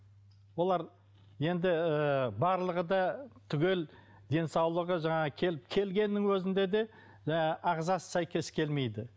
олар енді ы барлығы да түгел денсаулығы жаңағы келгеннің өзінде де ы ағзасы сәйкес келмейді